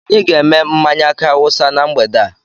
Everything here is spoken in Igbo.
Anyị ga-èmè mmánya aki áwúsa na mgbede a